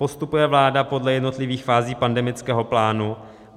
Postupuje vláda podle jednotlivých fází pandemického plánu?